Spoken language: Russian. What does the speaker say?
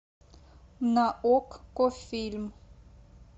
на окко фильм